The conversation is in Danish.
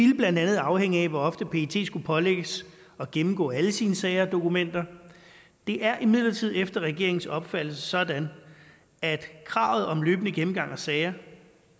vil blandt andet afhænge af hvor ofte pet skulle pålægges at gennemgå alle sine sager og dokumenter det er imidlertid efter regeringens opfattelse sådan at kravet om løbende gennemgang af sager